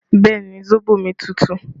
Bẹẹ ni, sóbò mi tútù